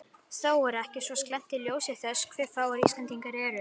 Það er þó ekki svo slæmt í ljósi þess hve fáir Íslendingar eru.